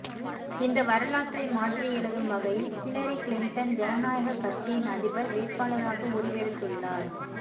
இந்த வரலாற்றை மாற்றி எழுதும் வகையில் ஹிலரி க்ளிண்டன் ஜன நாயகக் கட்சியின் அதிபர் வேட்பாளராக உருவெடுத்துள்ளார்